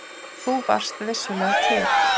Þú varst vissulega til.